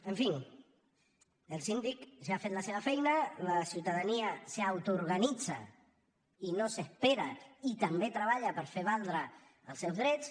en fi el síndic ja ha fet la seva feina la ciutadania s’autoorganitza i no s’espera i també treballa per fer valdre els seus drets